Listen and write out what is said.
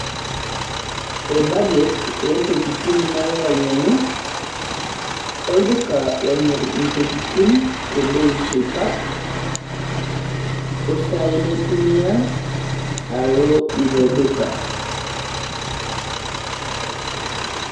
Budget oontokitin nalo ainyiang'u olduka lomirr intokitin te bei supat osaai naitumia alo ilo duka.